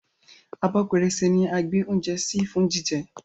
Abọ́ pẹrẹsẹ ní a gbè oúnjẹ sí fún jíjẹ